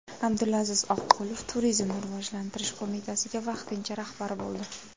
Abdulaziz Oqqulov Turizmni rivojlantirish qo‘mitasiga vaqtincha rahbar bo‘ldi.